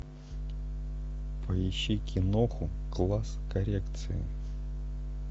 поищи киноху класс коррекции